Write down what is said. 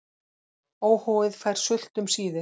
Óhófið fær sult um síðir.